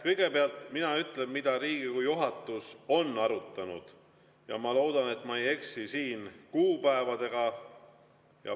Kõigepealt, mina ütlen, mida Riigikogu juhatus on arutanud, ja ma loodan, et ma ei eksi kuupäevadega.